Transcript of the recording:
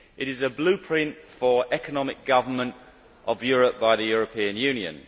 It is a blueprint for economic governance of Europe by the European Union.